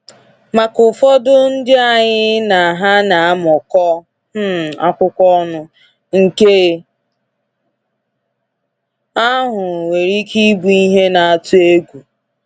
Maka ụfọdụ ndị anyị na ha na amụkọ um akwụkwọ ọnụ, nke ahụ nwere ike ịbụ ihe na-atụ egwu.